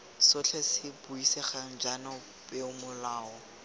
sotlhe se buisegang jaana peomolao